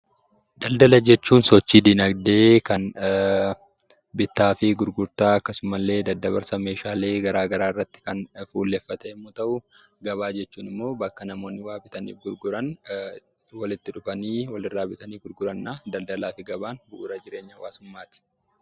Daldala jechuun sochii dinagdee kan bittaa fi gurgurtaa akkasumas daddabarsaa meeshaalee garaa garaa irratti kan fuulleffate yammuu ta'uu: gabaa jechuun immoo bakka namoonni wanta tokko bituun gurguran walitti dhufanii wal irraa bitanii gurguraniidha. Daldalaa fi gabaan bu'uura jireenya hawwaasummaati.